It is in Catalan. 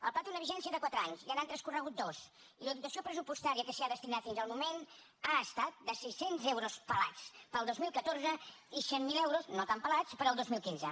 el pla té una vigència de quatre anys ja n’han transcorregut dos i la dotació pressupostària que s’hi ha destinat fins al moment ha estat de sis cents euros pelats per al dos mil catorze i cent miler euros no tan pelats per al dos mil quinze